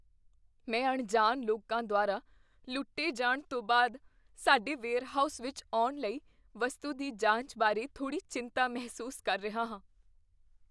ਮੈਂ ਅਣਜਾਣ ਲੋਕਾਂ ਦੁਆਰਾ ਲੁੱਟੇ ਜਾਣ ਤੋਂ ਬਾਅਦ ਸਾਡੇ ਵੇਅਰਹਾਊਸ ਵਿੱਚ ਆਉਣ ਵਾਲੀ ਵਸਤੂ ਦੀ ਜਾਂਚ ਬਾਰੇ ਥੋੜ੍ਹੀ ਚਿੰਤਾ ਮਹਿਸੂਸ ਕਰ ਰਿਹਾ ਹਾਂ।